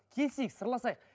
келісейік сырласайық